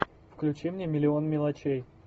включи мне миллион мелочей